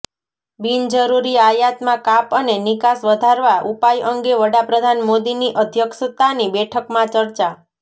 બિનજરૂરી આયાતમાં કાપ અને નિકાસ વધારવા ઉપાય અંગે વડાપ્રધાન મોદીની અઘ્યક્ષતાની બેઠકમાં ચર્ચા